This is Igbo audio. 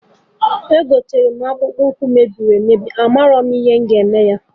Egotere m akpụkpụ ụkwụ mebiri emebi,a marọ m ihe m ga eme